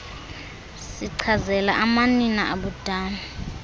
sichazela amanina abudala